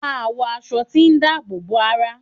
Màá wọ aṣọ tí dáàbò bo ara.